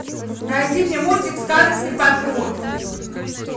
найди мне мультик сказочный патруль